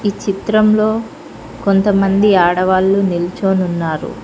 ఈ చిత్రంలో కొంతమంది ఆడవాళ్లు నిల్చోని ఉన్నారు.